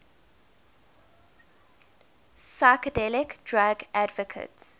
psychedelic drug advocates